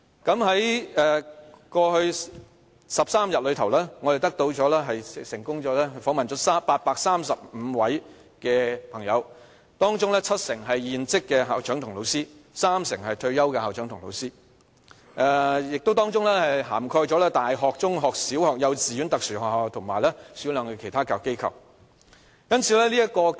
在過去13天，我們成功訪問了835位朋友，當中七成是現職的校長及老師，三成是退休的校長及老師，當中亦涵蓋了大學、中學、小學、幼稚園、特殊學校及少量的其他教育機構。